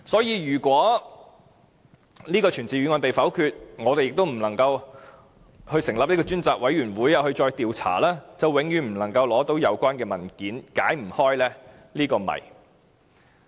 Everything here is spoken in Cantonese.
如果這項傳召議案被否決，我們又不能成立專責委員會進行調查，便永遠不能取得有關文件，解不開這個謎。